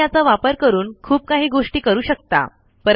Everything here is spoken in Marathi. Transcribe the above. तुम्ही याचा वापर करून खूप काही गोष्टी करू शकता